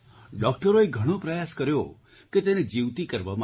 ડૉક્ટરોએ ઘણો પ્રયાસ કર્યો કે તેને જીવતી કરવામાં આવે